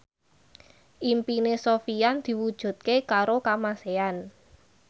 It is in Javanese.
impine Sofyan diwujudke karo Kamasean